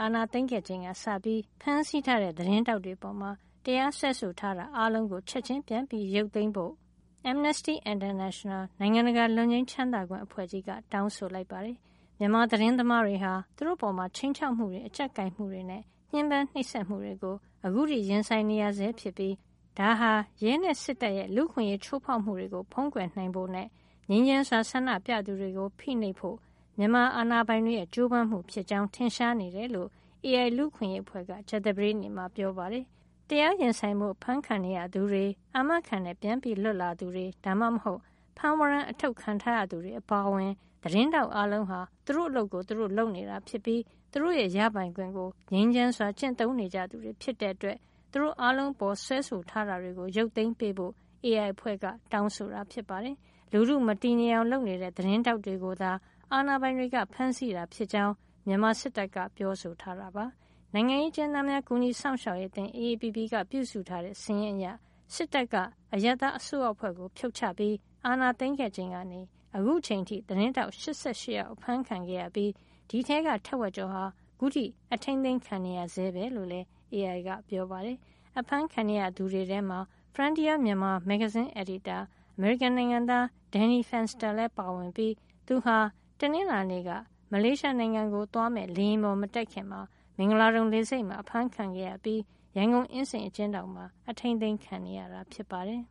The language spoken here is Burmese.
အာဏာသိမ်းခဲ့ချိန်ကစပြီး ဖမ်းဆီးထားတဲ့ သတင်းထောက်တွေ အပေါ် တရားစွဲဆိုထားတာ အားလုံးကို ချက်ချင်းပြန်ရုပ်သိမ်းပေါ်ဖို့ Amnesty International နိုင်ငံတကာလွတ်ငြိမ်းချမ်းသာခွင့် အဖွဲ့ကြီးက တောင်းဆိုလိုက်ပါတယ်။ မြန်မာသတင်းသမားတွေဟာ သူတို့အပေါ် ခြိမ်းခြောက်မှုတွေ အကြပ်ကိုင်မှုတွေနဲ့ ညှဉ်းပန်း နှိပ်စက်မှုတွေကို ခုထိ ရင်ဆိုင်နေရဆဲဖြစ်ပြီး ဒါဟာ ရဲနဲ့ စစ်တပ်ရဲ့ လူ့အခွင့်ရေးချိုးဖောက်မှုတွေကို ဖုံးကွယ်နိုင်ဖို့နဲ့ ငြိမ်းချမ်းစွာဆန္ဒပြသူတွေကို ဖိနှိပ်ဖို့နဲ့ မြန်မာစစ်အာဏာပိုင်တွေရဲ့ ကြိုးစားမှုဖြစ်ကြောင်း ထင်ရှားနေတယ်လို့ AI လူ့အခွင့်ရေးအဖွဲ့က ကြာသပတေးနေ့မှာ ပြောပါတယ်။ တရားရင်ဆိုင်ဖို့ ဖမ်းခံနေရသူတွေ၊ အာမခံနဲ့ပြန်လွတ်လာသူ ဒါမှမဟုတ် ဖမ်းဝရမ်း အထုတ်ခံထားရသူ တွေ အပါအဝင် သတင်းထောက်အားလုံးဟာ သူတို့အလုပ်ကို သူတို့လုပ်နေတာ ဖြစ်ပြီး သူတို့ရဲ့ရပိုင်ခွင့်ကို ငြိမ်းချမ်းစွာ ကျင့်သုံးနေကြသူတွေ ဖြစ်တဲ့ အတွက် သူတို့အားလုံး အပေါ် စွဲဆိုထားတာတွေကို ရုပ်သိမ်းဖို့ AI အဖွဲ့ တောင်းဆိုတာ ဖြစ်ပါတယ်။ လူထုမတည်ငြိမ်အောင် လုပ်နေတဲ့ သတင်းထောက်တွေကိုသာ အာဏာပိုင်တွေက ဖမ်းဆီးတာ ဖြစ်ကြောင်း မြန်မာစစ်တပ်က ပြောဆိုထားတာပါ။ နိုင်ငံရေးအကျဉ်းသားများ ကူညီစောင့်ရှောက်ရေးအသင်း AAPP ကပြုစုထားတဲ့ စာရင်းအရ စစ်တပ်က အရပ်သားအစိုးရအဖွဲ့ကို ဖြုတ်ချပြီးအာဏာသိမ်းခဲ့ချိန်ကနေ အခုအချိန် အထိ သတင်းထောက် ၈၈ ယောက် အဖမ်းခံရပြီး ဒီအထဲက ထက်ဝက်ကျော်ဟာ အခုထိ အထိန်းသိမ်းခံနေရဆဲပဲလို့လည်း AI က ပြောပါတယ်။ အဖမ်းခံနေရသူတွေထဲမှာ Frontier Myanmar မဂ္ဂဇင်းအယ်ဒီတာ အမေရိကန် နိုင်ငံသား Danny Fenster လည်းပါဝင်ပြီး သူဟာ တနင်္လာနေ့က မလေးရှားနိုင်ငံကို သွားမယ့် လေယာဉ်ပေါ် မတက်ခင် မင်္ဂလာဒုံလေဆိပ်မှာ အဖမ်းခံခဲ့ရပြီး ရန်ကုန်အင်းစိန်အကျဉ်းထောင်မှာ အထိန်းသိမ်းခံနေရတာ ဖြစ်ပါတယ်